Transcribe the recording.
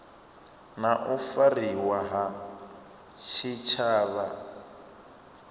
na u fariwa ha tshitshavha